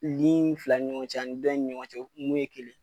fila ni ɲɔgɔn ani dɔ in ni ɲɔgɔn cɛ mun ye kelen.